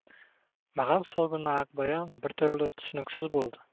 маған сол күні ақбаян бір түрлі түсініксіз болды